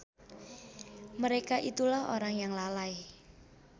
Mereka itulah orang yang lalai.